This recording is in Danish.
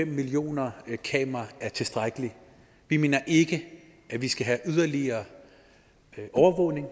millioner kameraer er tilstrækkeligt vi mener ikke at vi skal have yderligere overvågning